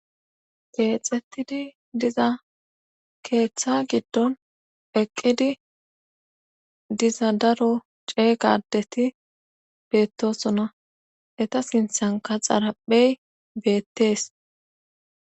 Keexettidi diza keetha giddon eqqidi diza daro ceega addeti beettososna eta snthankka xaraphey beettes.